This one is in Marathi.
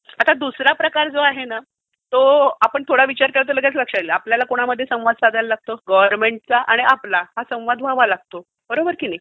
आता दूसरा प्रकार जो आहे ना तो आपण थोडा विचार केला तर लगेच लक्ष्त येईल. आपल्याला कोणामध्ये संवाद साधायला लागतो? गव्हर्नमेंटचा आणि आपला. हा संवाद व्हावा लागतो. बरोबर की नाही?